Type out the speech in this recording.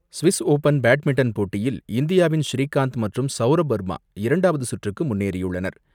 Swiss Open badminton போட்டியில், இந்தியாவின் ஸ்ரீகாந்த் மற்றும் சௌரப் வர்மா இரண்டாவது சுற்றுக்கு முன்னேறியுள்ளார்.